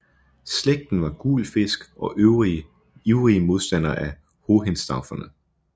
Slægten var guelfisk og ivrige modstandere af Hohenstauferne